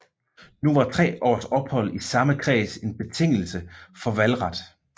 Nu var tre års ophold i samme kreds en betingelse for valgret